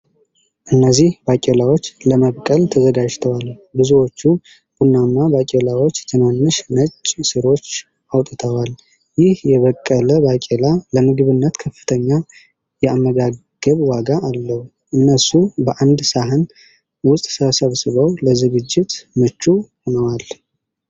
እነዚህ ባቄላዎች ለመብቀል ተዘጋጅተዋል። ብዙዎቹ ቡናማ ባቄላዎች ትናንሽ ነጭ ሥሮች አውጥተዋል። ይህ የበቀለ ባቄላ ለምግብነት ከፍተኛ የአመጋገብ ዋጋ አለው። እነሱ በአንድ ሳህን ውስጥ ተሰብስበው ለዝግጅት ምቹ ሆነዋል።